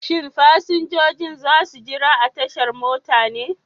Shin fasinjojin za su jira a tashar mota ne?